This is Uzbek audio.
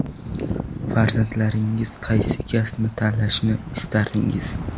Farzandlaringiz qaysi kasbni tanlashini istardingiz?